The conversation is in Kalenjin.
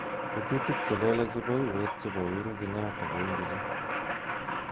Tetutik chelelach chebo uwet chebo Uhuru Kenyatta ko ingicho